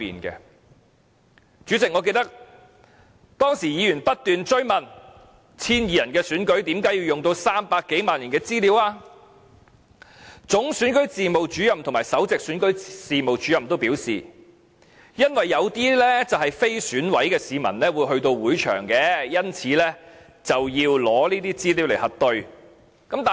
代理主席，我記得議員當時不斷追問 ，1,200 人的選舉為甚麼要用上300多萬人的資料，總選舉事務主任和首席選舉事務主任均表示，因為有些非選委的市民會到會場，因此，要以這些資料來核對。